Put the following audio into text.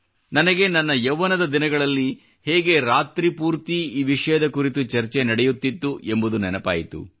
ನನಗೆ ನನ್ನ ಯೌವನದ ದಿನಗಳಲ್ಲಿ ಹೇಗೆ ರಾತ್ರಿ ಪೂರ್ತಿ ಈ ವಿಷಯದ ಕುರಿತು ಚರ್ಚೆ ನಡೆಯುತ್ತಿತ್ತು ಎಂಬುದು ನೆನಪಾಯಿತು